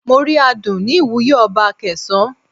Mo rí aadun ní ìwúye ọba Akesan.